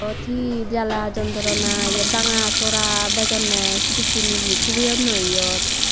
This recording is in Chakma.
iyot he jala jontrona banga sora bejonne ye sedekkin yea thubeyunnoi iyot.